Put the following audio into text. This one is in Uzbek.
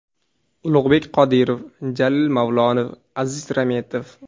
Ulug‘bek Qodirov, Jalil Mavlonov, Aziz Rametov.